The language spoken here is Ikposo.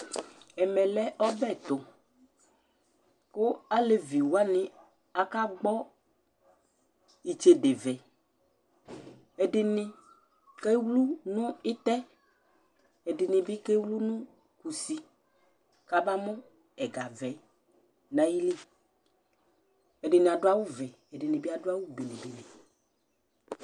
Ɛmɛ lɛ ɔbɛ tʋ kʋ alevi wanɩ akagbɔ itsedevɛ Ɛdɩnɩ kewlu nʋ ɩtɛ, ɛdɩnɩ bɩ kewlu nʋ kusi kabamʋ ɛgavɛ yɛ nʋ ayili Ɛdɩnɩ adʋ awʋvɛ, ɛdɩnɩ bɩ adʋ awʋ bene bene